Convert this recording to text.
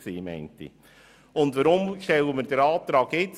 Weshalb stellen wir diesen Rückkommensantrag jetzt?